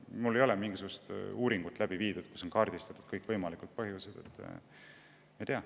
Mul ei ole mingisugust uuringut läbi viidud, et kaardistada kõikvõimalikud põhjused.